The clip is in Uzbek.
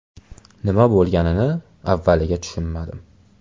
Nima bo‘lganini avvaliga tushunmadim.